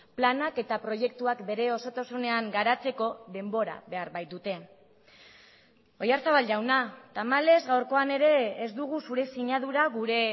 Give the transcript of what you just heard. planak eta proiektuak bere osotasunean garatzeko denbora behar baitute oyarzabal jauna tamalez gaurkoan ere ez dugu zure sinadura gure